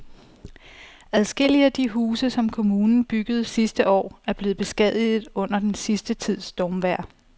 Adskillige af de huse, som kommunen byggede sidste år, er blevet beskadiget under den sidste tids stormvejr.